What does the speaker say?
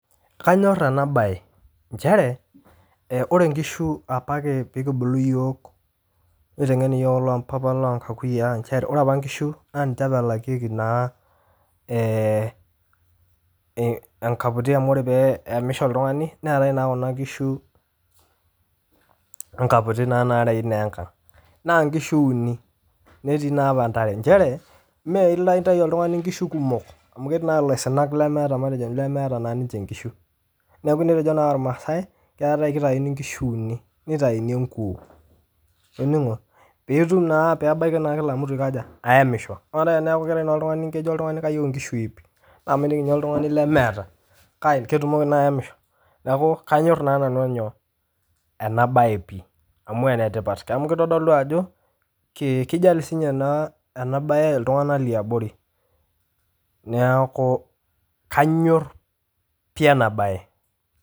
Kanyorr ena baye inchere ore inkishu apa piikibulu iyook, neitengen yook loo mpapa loo inkakuyaang' inchere ore apa inkishu naa ninche apa elakieki naa enkaputi amu ore pee eyemisho oltungani neatae naa kuna kishu enkaputi naa naarewi naa enkang, naa inkishu uni netii naa apa entare, inchere mee ilo intayu ltungani nkishu kumok amu ketii naa laisinak lemeeta naa ninche inkishu, naaku netejo naa ilmaasai kekau keitayuni enkishu uni, neitaini enkuoo, itoning'o piitum naa peebaki naa [cs[kila mtu aikoja aiyemisho, naaku ama naa an kelo oltungani kayeu inkishu iip naaku mining ninye ltungani lemeeta kake ketumoki naa ayemisho, naaku kanyorr naa nanu enyoo, ena baye pii amu enetipat, amu keitodolu ajo keijali sii ninye ena baye ltungana le abori, naaku kanyorr pii ena baye.